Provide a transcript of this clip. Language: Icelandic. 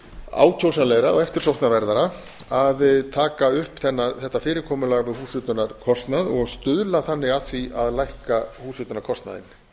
ákjósanlegra og eftirsóknarverðara að taka upp þetta fyrirkomulag um húshitunarkostnað og stuðla þannig að því að lækka húshitunarkostnaðinn